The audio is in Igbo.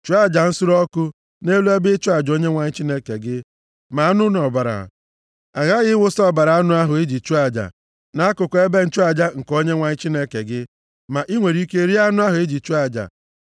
Chụọ aja nsure ọkụ nʼelu ebe ịchụ aja Onyenwe anyị Chineke gị, ma anụ na ọbara. A ghaghị ịwụsa ọbara anụ ahụ e ji chụọ aja nʼakụkụ ebe nchụaja nke Onyenwe anyị Chineke gị. Ma i nwere ike rie anụ ahụ e ji chụọ aja.